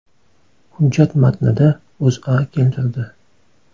Hujjat matnida O‘zA keltirdi .